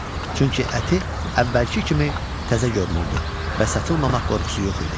Çünki əti əvvəlki kimi təzə görünürdü və satılmamaq qorxusu yox idi.